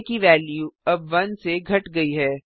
आ की वेल्यू अब 1 से घट गयी है